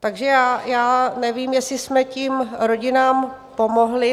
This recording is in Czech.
Takže já nevím, jestli jsme tím rodinám pomohli.